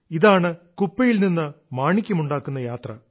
ഇതാണ് കുപ്പയിൽ നിന്ന് മാണിക്യമുണ്ടാക്കുന്ന യാത്ര